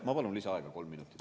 Ma palun lisaaega kolm minutit.